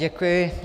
Děkuji.